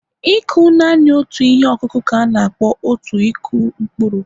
ịkụ naanị otu ihe ọkụkụ ka a na-akpọ out Ịkụ mkpụrụ